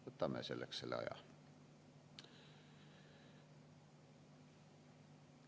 Võtame selleks selle aja.